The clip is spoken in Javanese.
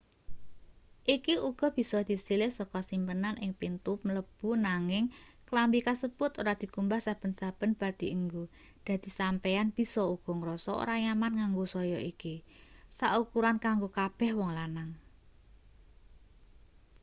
iki uga bisa disilih saka simpenan ing pintu mlebu nanging klambi kasebut ora dikumbah saben-saben bar dienggo dadi sampeyan bisa uga ngrasa ora nyaman nganggo saya iki sak ukuran kanggo kabeh wong lanang